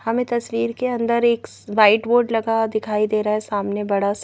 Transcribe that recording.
हमें तस्वीर के अंदर एक वाइट बोर्ड लगा दिखाई दे रहा है सामने बड़ा--